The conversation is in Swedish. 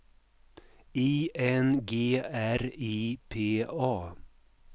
I N G R I P A